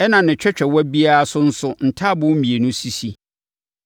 ɛnna ne twɛtwɛwa biara so nso, ntaaboo mmienu sisi.